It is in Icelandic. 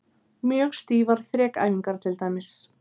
Mjög stífar þrekæfingar til dæmis.